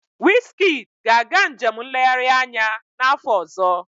Wizkid ga-aga njem nlegharị anya n'afọ ọzọ.